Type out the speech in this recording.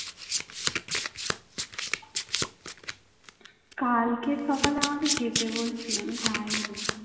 কালকে সকালে আমাকে যেতে বলছিলো আমি যায়নি